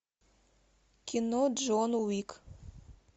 кино джон уик